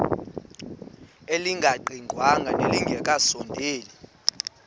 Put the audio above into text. elingaqingqwanga nelinge kasondeli